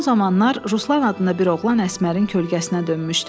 Son zamanlar Ruslan adında bir oğlan Əsmərin kölgəsinə dönmüşdü.